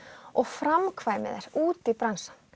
og framkvæmi þær út í bransann